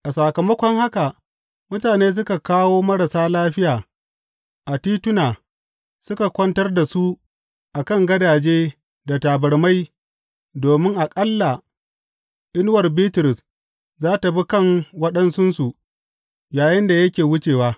A sakamakon haka, mutane suka kawo marasa lafiya a tituna suka kwantar da su a kan gadaje da tabarmai domin aƙalla inuwar Bitrus za tă bi kan waɗansunsu yayinda yake wucewa.